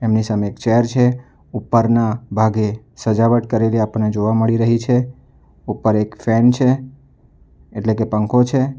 ની સામે એક ચેર છે ઉપરના ભાગે સજાવટ કરેલી આપણને જોવા મળી રહી છે ઉપર એક ફેન છે એટલે કે પંખો છે.